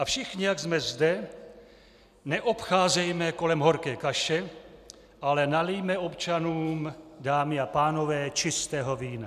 A všichni, jak jsme zde, neobcházejme kolem horké kaše, ale nalijme občanům, dámy a pánové, čistého vína.